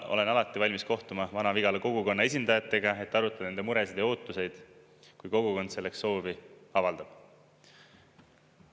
Olen alati valmis kohtuma Vana-Vigala kogukonna esindajatega, et arutada nende muresid ja ootusi, kui kogukond selleks soovi avaldab.